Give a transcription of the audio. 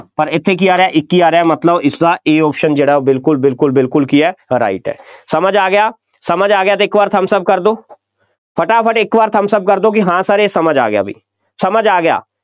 ਪਰ ਇੱਥੇ ਕੀ ਆ ਰਿਹਾ, ਇੱਕੀ ਆ ਰਿਹਾ, ਮਤਲਬ ਇਸਦਾ A option ਜਿਹੜਾ ਬਿਲਕੁੱਲ, ਬਿਲਕੁੱਲ, ਬਿਲਕੁੱਲ ਕੀ ਹੈ right ਹੈ, ਸਮਝ ਆ ਗਿਆ, ਸਮਝ ਆ ਗਿਆ ਤਾਂ ਇੱਕ ਵਾਰ thumbs up ਕਰ ਦਿਓ, ਫਟਾਫਟ ਇੱਕ ਵਾਰ thumbs up ਕਰ ਦਿਓ ਕਿ ਹਾਂ sir ਇਹ ਸਮਝ ਆ ਗਿਆ ਬਈ, ਸਮਝ ਆ ਗਿਆ,